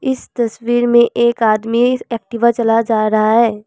इस तस्वीर में एक आदमी एक्टिवा चला जा रहा है।